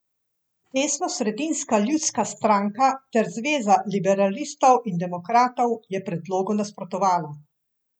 Desnosredinska Ljudska stranka ter zveza liberalistov in demokratov je predlogu nasprotovala.